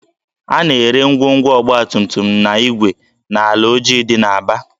A na-ere ngwongwo ọgbatumtum na igwe n'ahịa Alaoji dị n'Aba